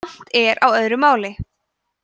kant er á öðru máli